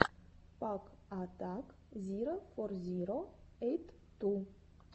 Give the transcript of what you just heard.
пак атак зиро фор зиро эйт ту